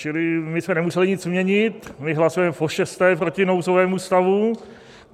Čili my jsme nemuseli nic měnit, my hlasujeme pošesté proti nouzovému stavu.